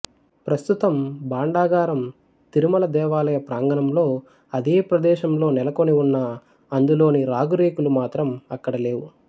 ప్రస్తుతం భాండాగారం తిరుమల దేవాలయ ప్రాంగణంలో అదే ప్రదేశంలో నెలకొనివున్నా అందులోని రాగిరేకులు మాత్రం అక్కడ లేవు